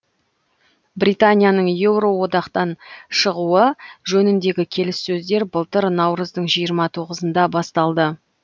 британияның еуроодақтан шығуы жөніндегі келіссөздер былтыр наурыздың жиырма тоғызында басталды